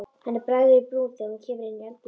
Henni bregður í brún þegar hún kemur inn í eldhúsið.